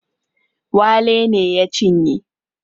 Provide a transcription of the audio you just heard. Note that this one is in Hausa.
Wale ne ya cinye